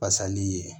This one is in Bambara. Fasali ye